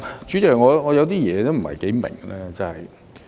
主席，我有些事情不太明白。